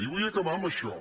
i vull acabar amb això